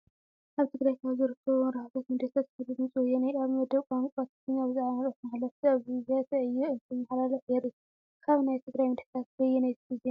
ኣብ ትግራይ ካብ ዝርከቡ መራኸቢ ሚድያታት ሓደ ድምፂ ወያነ እዩ፡፡ ኣብ መደብ ቋንቋ ትግርኛ ብዛዕባ መልእኽቲ ሓለፍት ኣብያተ ዕዮ እንትመሓላለፍ የሪኢ፡፡ ካብ ናይ ትግራይ ሚድያታት በየነይቲ ዜና ትሰምዑ?